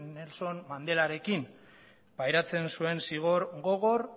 nelson mandelarekin pairatzen zuen zigor gogor